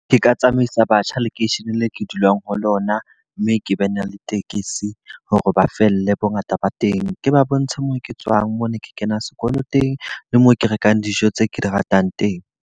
Ke ka tsamaisa batjha lekeisheneng leo ke dulang ho lona. Mme ke be ne le tekesi hore ba felle bo ngata ba teng. Ke ba bontshe mo ke tswang, mo ne ke kena sekolo teng, le mo ke rekang dijo tse ke di ratang teng.